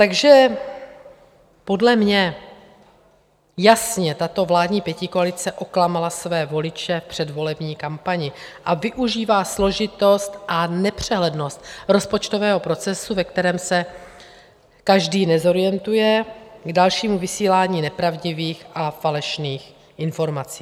Takže podle mě jasně tato vládní pětikoalice oklamala své voliče v předvolební kampani a využívá složitost a nepřehlednost rozpočtové procesu, ve kterém se každý nezorientuje, k dalšímu vysílání nepravdivých a falešných informací.